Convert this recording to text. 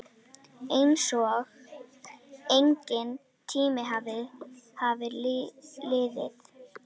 Einsog enginn tími hafi liðið.